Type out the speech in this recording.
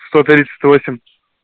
сто тридцать восемь